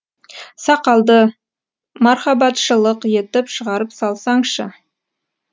сақалды мархабатшылық етіп шығарып салсаңшы